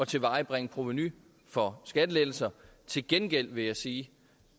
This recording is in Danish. tilvejebringe provenu for skattelettelser til gengæld vil jeg sige